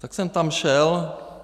Tak jsem tam šel.